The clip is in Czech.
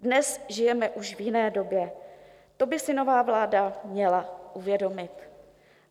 Dnes žijeme už v jiné době, ro by si nová vláda měla uvědomit.